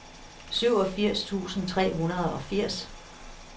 syvogfirs tusind tre hundrede og firs